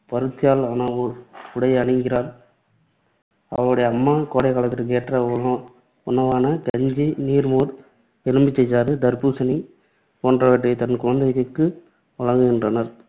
பருத்தியால் ஆன உ~ உடையை அணிகிறாள். அவளுடைய அம்மா கோடைக்காலத்திற்கு ஏற்ற உணவு உணவான கஞ்சி, நீர்மோர், எலுமிச்சைசாறு, தர்பூசணி போன்றவற்றைத் தன் குழந்தைகளுக்கு வழங்குகின்றனர்.